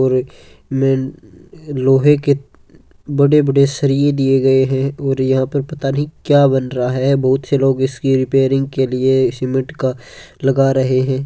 और में लोहे के बड़े-बड़े सरिया दिए गए हैं और यहां पर पता नहीं क्या बन रहा है बहुत सारे लोग इसके रिपेयरिंग के लिए सीमेंट का लगा रहे हैं।